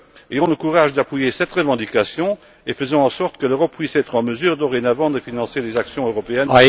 Ayons le courage d'appuyer cette revendication et faisons en sorte que l'Europe puisse être en mesure, dorénavant, de financer les actions européennes.